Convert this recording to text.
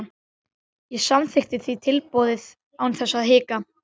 Ég samþykkti því tilboðið án þess að hika.